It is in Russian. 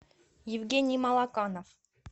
евгений малаканов